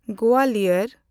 Gwalior